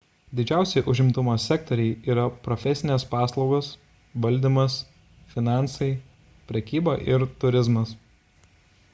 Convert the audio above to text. didžiausi užimtumo sektoriai yra profesinės paslaugos valdymas finansai prekyba ir turizmas